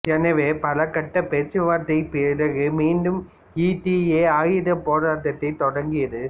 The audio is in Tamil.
எனவே பல கட்டப் பேச்சு வார்த்தைப் பிறகு மீண்டும் இடிஏ ஆயுதப் போரட்டத்தை தொடங்கியது